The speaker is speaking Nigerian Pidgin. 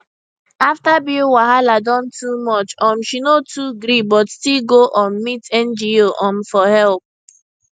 after bill wahala don too much um she no too gree but still go um meet ngo um for help